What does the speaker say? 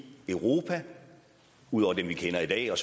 europa ud over dem vi kender i dag og